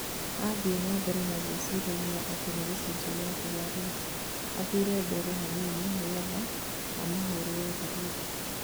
athiĩ na mbere na gwĩciria atĩ nĩ gĩcunjĩ kĩa thigari, athire mbere hanini nĩgetha amahũrirĩ tharuti